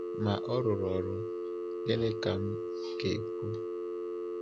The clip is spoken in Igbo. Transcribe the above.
Ma ọ rụrụ ọrụ, gịnị ka m ga-ekwu?